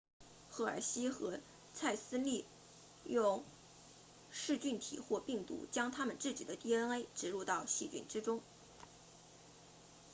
赫尔希和蔡斯利用噬菌体或病毒将他们自己的 dna 植入到细菌之中